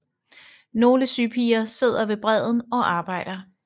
Nogle sypiger sidder ved bredden og arbejder